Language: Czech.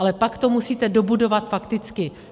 Ale pak to musíte dobudovat fakticky.